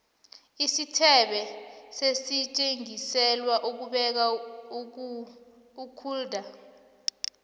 isithebe sisetjenziselwa ukubeka ukulda